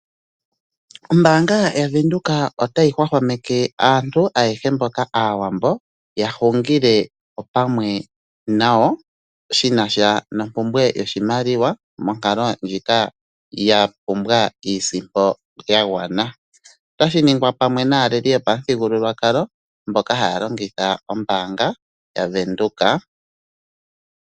Ombanga yavenduka otayi hwahwameke aantu ayehe mboka aawambo yahungile opamwe nayo, shinasha nompumbwe yoshimaliwa monkalo ndjika yapumbwa iisimpo yagwana. Otashi ningwa pamwe naaleli yopa muthigululwakala mboka haya longitha ombaanga yavenduka.